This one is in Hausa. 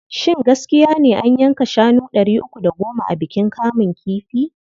Shin gaskiya ne cewa an yanka shanu ɗari uku da goma a bikin kamun kifi?